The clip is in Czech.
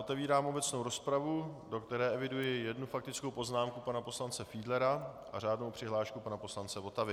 Otevírám obecnou rozpravu, do které eviduji jednu faktickou poznámku pana poslance Fiedlera a řádnou přihlášku pana poslance Votavy.